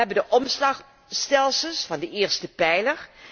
Wij hebben de omslagstelsels van de eerste pijler.